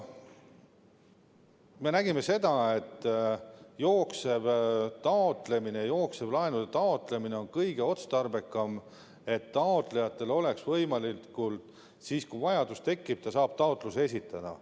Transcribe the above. Me nägime seda, et jooksev laenude taotlemine on kõige otstarbekam, et taotlejal oleks võimalik siis, kui vajadus tekib, taotlus esitada.